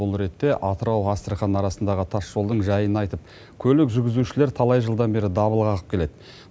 бұл ретте атырау астрахань арасындағы тас жолдың жайын айтып көлік жүргізушілер талай жылдан бері дабыл қағып келеді